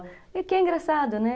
E que é engraçado, né?